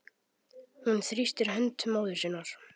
Hún þrýstir hönd móður sinnar.